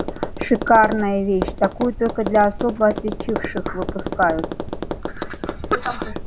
шикарная вещь такую только для особо отличивших выпускают